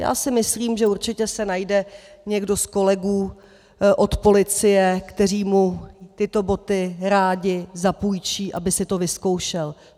Já si myslím, že určitě se najde někdo z kolegů od policie, kteří mu tyto boty rádi zapůjčí, aby si to vyzkoušel.